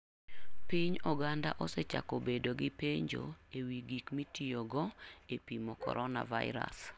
Piny oganda osechako bedo gi penjo e wi gik mitiyogo e pimo Coronavirus.